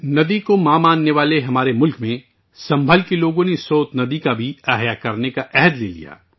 ہمارے ملک میں جو دریا کو ماں مانتا ہے، سنبھل کے لوگوں نے اس سوت ندی کو بھی بحال کرنے کا عہد کیا تھا